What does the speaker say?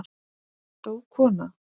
Dó kona?